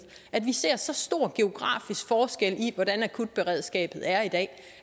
at vi ser så stor en geografisk forskel i hvordan akutberedskabet er i dag